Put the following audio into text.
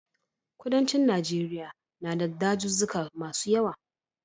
Kudancin Najeriya na da dazuzzuka masu yawa.